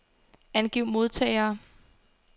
Angiv modtagere.